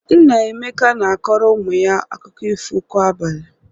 Nna Emeka na-akọrọ ụmụ ya akụkọ ifo kwa abalị.